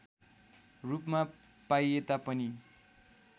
रूपमा पाइएता पनि